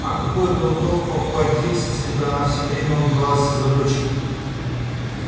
а какой был бы толк покупать дилси если бы она все время убивалась из-за дочки